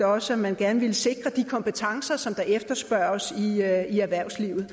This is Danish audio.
også at man gerne ville sikre de kompetencer der efterspørges i erhvervslivet